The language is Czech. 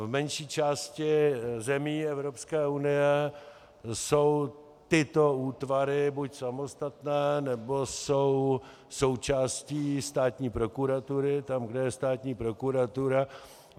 V menší části zemí Evropské unie jsou tyto útvary buď samostatné, nebo jsou součástí státní prokuratury tam, kde je státní prokuratura.